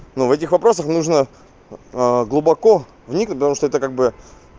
ну в этих вопросах нужно глубоко вникнуть потому что это как бы